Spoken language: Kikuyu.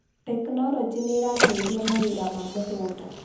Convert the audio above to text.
Tekinology nĩrateithia mawĩra ma mũgũnda